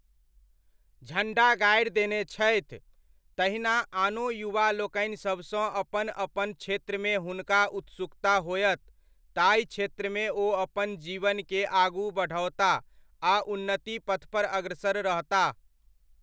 झण्डा गाड़ि देने छथि, तहिना आनो युवा लोकनिसभ सँ अपन अपन क्षेत्रमे हुनका उत्सुकता होयत ताहि क्षेत्रमे ओ अपन जीवनकेँ आगू बढ़ओताह आ उन्नत्ति पथपर अग्रसर रहताह।